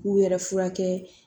K'u yɛrɛ furakɛ